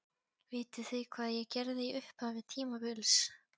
Vitið þið hvað ég gerði í upphafi tímabils?